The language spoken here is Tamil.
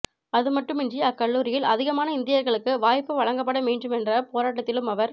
அது மட்டுமின்றி அக்கல்லூரியில் அதிகமான இந்தியர்களுக்கு வாய்ப்பு வழங்கப்பட வேண்டுமென்ற போராட்டதிலும் அவர்